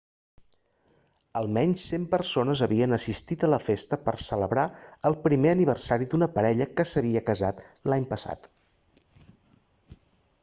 almenys 100 persones havien assistit a la festa per a celebrar el primer aniversari d'una parella que s'havia casat l'any passat